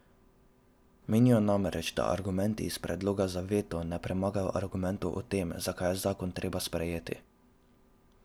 Menijo namreč, da argumenti iz predloga za veto ne premagajo argumentov o tem, zakaj je zakon treba sprejeti.